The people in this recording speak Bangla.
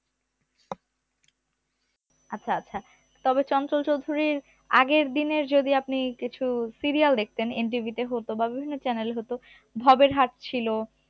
আচ্ছা আচ্ছা তবে চঞ্চল চৌধুরীর আগের দিনের যদি আপনি কিছু serial দেখতেন NTV হত বা বিভিন্ন channel এ হতো ভবেরহাট ছিল